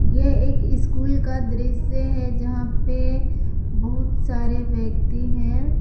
यह एक स्कूल का दृश्य है जहां पे बहुत सारे व्यक्ति हैं।